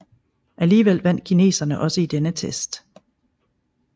Alligevel vandt kineserne også i denne test